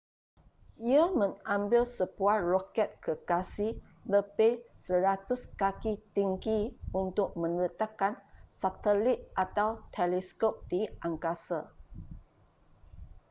ia mengambil sebuah roket gergasi lebih 100 kaki tinggi untuk meletakkan satelit atau teleskop di angkasa